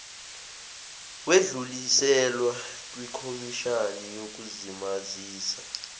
wedluliselwa kwikhomishani yokuzimazisa